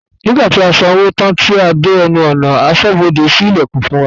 Nígbàtí a san owó tán tí a dé ẹnu ọ̀nà, asọ́bodè sí ìlẹ̀kùn fún wa